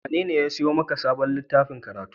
Wanene ya sayo maka sabon littafin karatu?